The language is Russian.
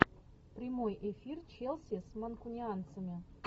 прямой эфир челси с манкунианцами